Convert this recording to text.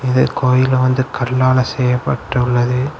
இந்தக் கோயில் வந்து கல்லால செய்யப்பட்டுள்ளது.